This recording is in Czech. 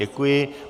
Děkuji.